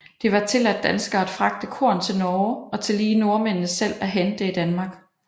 Det var tilladt danskere at fragte korn til Norge og tillige nordmændene selv at hente det i Danmark